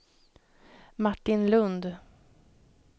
Martin Lund